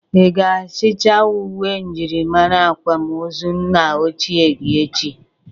Ị ga-achịta ụwe myịrịmara akwam ozu nna ochie gị echi?